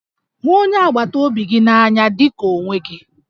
Hụ onye agbataobi gị n'anya dị ka onwe gị